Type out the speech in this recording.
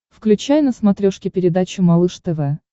включай на смотрешке передачу малыш тв